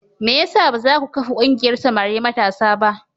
Me ya sa ba za ku kafa ƙungiyar samari matasa ba?